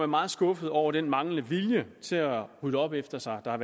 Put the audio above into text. meget skuffet over den manglende vilje til at rydde op efter sig og